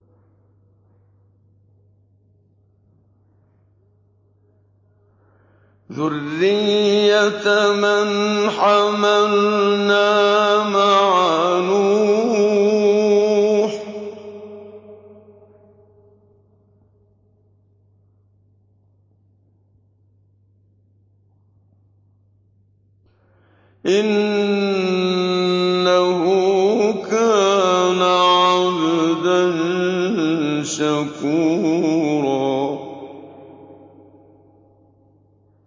ذُرِّيَّةَ مَنْ حَمَلْنَا مَعَ نُوحٍ ۚ إِنَّهُ كَانَ عَبْدًا شَكُورًا